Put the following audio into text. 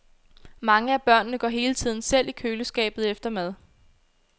Mange af børnene går hele tiden selv i køleskabet efter mad.